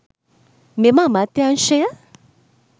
මෙම අමාත්‍යංශය